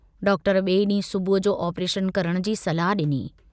Doctor बिए डींहुं सुबुह जो आपरेशन करण जी सलाह डिनी।